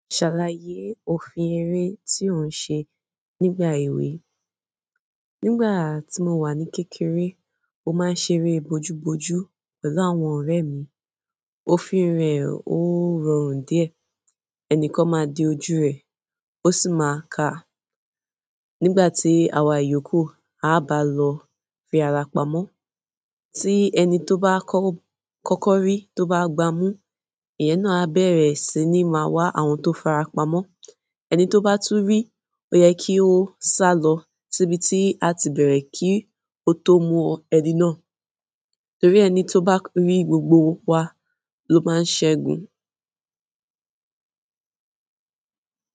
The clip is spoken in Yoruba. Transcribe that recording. Ṣàlàyé òfin eré tí ò ń ṣe nígbà èwe. Nígbà tí mo wà ní kékeré, mó máa ń ṣeré bojúbojú pẹ̀lú àwọn ọ̀rẹ́ mi. Òfin rẹ̀ ó rọrùn díẹ̀. Ẹnìkan máa di ojú rẹ̀, ó sì máa kà á. Nígbà tí àwa ìyókù á bá lọ fi ara pamọ́, tí ẹni tó bá kọ́kọ́ rí tó bá gbámú, ìyẹn náà á bẹ̀rẹ̀ sí ní máa wa àwọn tó farapamọ́. Ẹni to ba tun ri, o ye ki o salo si ibi a ti bere ki o to mu ẹni na. Torí ẹni tó bá rí gbògbò wa ló máa ń ṣẹ́gun.